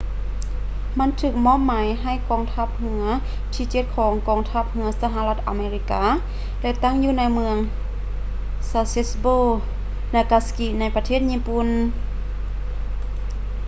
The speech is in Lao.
ມັນຖືກມອບໝາຍໃຫ້ກອງທັບເຮືອທີເຈັດຂອງກອງທັບເຮືອສະຫະລັດອາເມລິກາ ແລະ ຕັ້ງຢູ່ເມືອງ sasebo nagasaki ໃນປະເທດຍີ່ປຸ່ນ